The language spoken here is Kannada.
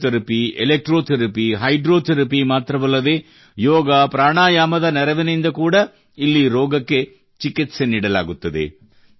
ಫಿಜಿಯೋಥೆರಪಿ ಎಲೆಕ್ಟ್ರೋಥೆರಪಿ ಮತ್ತು ಹೈಡ್ರೋಥೆರಪಿ ಮಾತ್ರವಲ್ಲದೇ ಯೋಗಪ್ರಾಣಾಯಾಮದ ನೆರವಿನಿಂದ ಕೂಡಾ ಇಲ್ಲಿ ರೋಗಕ್ಕೆ ಚಿಕಿತ್ಸೆ ನೀಡಲಾಗುತ್ತದೆ